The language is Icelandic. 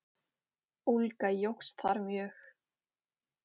Ólga jókst þar mjög.